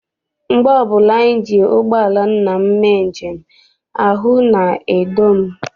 Mgbe ọbụla anyị ji ụgbọala nna m mee njem, ahụ na-edo m.